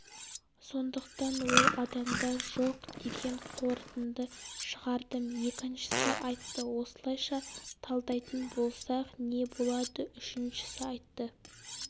сондықтан ол адамда жоқ деген қорытынды шығардым екіншісі айтты осылайша талдайтын болсақ не болады үшіншісі айтты